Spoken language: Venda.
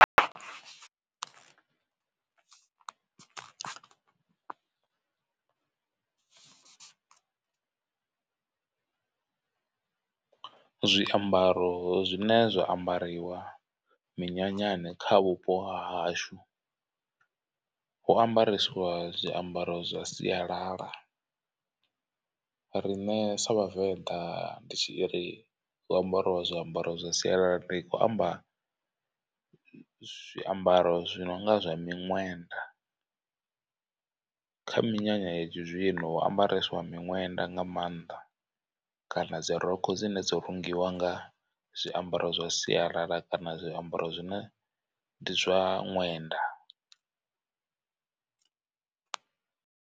Zwiambaro zwine zwa ambariwa minyanyani kha vhupo ha hashu, hu ambaresiwa zwiambaro zwa sialala. Riṋe sa vhavenḓa ndi tshi ri hu ambariwa zwiambaro zwa sialala ndi khou amba zwiambaro zwi nonga zwa miṅwenda. Kha minyanya ya tshi zwino hu ambareswa miṅwenda nga maanḓa kana dzi rokho dzine dzo rungiwa nga zwiambaro zwa sialala kana zwiambaro zwine ndi zwa ṅwenda.